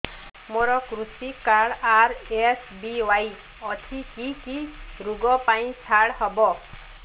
ମୋର କୃଷି card RSBY ଅଛି କି କି ଋଗ ପାଇଁ ଛାଡ଼ ହବ